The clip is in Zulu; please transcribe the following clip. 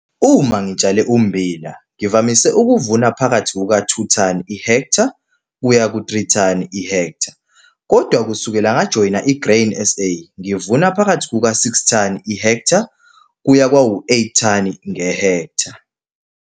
Uma ngitshale ummbila ngivamise ukuvuna phakathi kuka 2 ton i-ha kuya ku-3 ton i-ha kodwa kusukela ngajoyina i-Grain SA ngivuna phakathi kuka-6 ton i-ha kuya kwayi-8 ton i-ha.